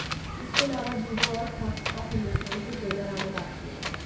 इसके अलावा जीरो और ठग्स ऑफ हिंदुस्तान के ट्रेलर आने बाकी है